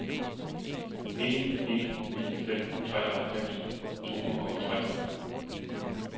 en en ni fem treoghalvfems to hundrede og tre